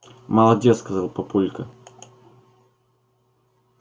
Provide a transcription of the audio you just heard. молодец сказал папулька